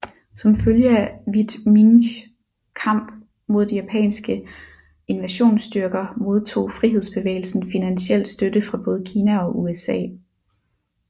Som følge af Viet Minhs kamp mod de japanske invasionsstyrker modtog frihedsbevægelsen finansiel støtte fra både Kina og USA